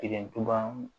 Kelen tora